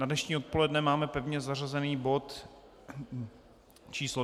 Na dnešní odpoledne máme pevně zařazený bod číslo